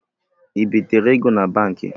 Ịbịtere ego na Banki?